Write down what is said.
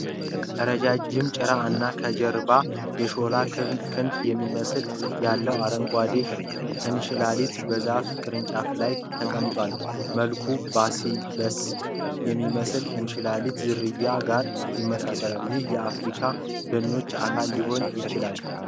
ረዥም ጭራ እና ከጀርባው የሾለ ክንፍ የሚመስል ያለው አረንጓዴ እንሽላሊት በዛፍ ቅርንጫፍ ላይ ተቀምጧል። መልኩ ባሲሊስክ ከሚባል እንሽላሊት ዝርያ ጋር ይመሳሰላል፤ ይህም የአፍሪካ ደኖች አካል ሊሆን ይችላል።